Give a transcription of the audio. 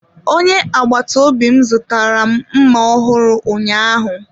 Onye agbata obi m zụtara mma ọhụrụ ụnyaahụ.